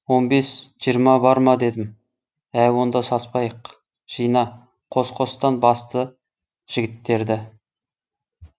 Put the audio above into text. он бес жиырма бар ма дедім ә онда саспайық жина қос қостан басты жігіттерді